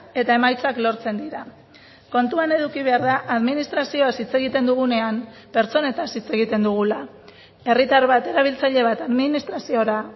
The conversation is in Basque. eta emaitzak lortzen dira kontuan eduki behar da administrazioaz hitz egiten dugunean pertsonetaz hitz egiten dugula herritar bat erabiltzaile bat administraziora